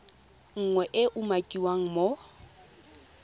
nngwe e e umakiwang mo